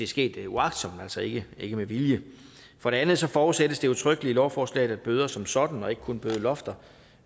sket uagtsomt altså ikke ikke med vilje for det andet forudsættes det udtrykkeligt i lovforslaget at bøder som sådan og ikke kun bødelofter